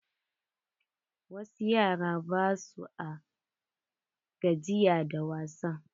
Wasu yara ba sua gajiya da wasa.